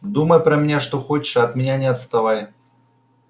думай про меня что хочешь а от меня не отставай